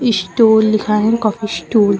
Stall लिखा है coffee stall.